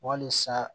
Walisa